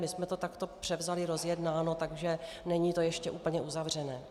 My jsme to takto převzali rozjednáno, takže není to ještě úplně uzavřené.